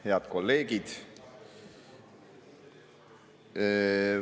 Head kolleegid!